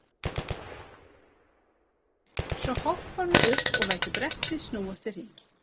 Svo hopparðu upp og lætur brettið snúast í hring.